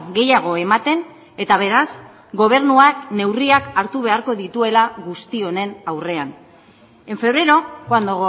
gehiago ematen eta beraz gobernuak neurriak hartu beharko dituela guzti honen aurrean en febrero cuando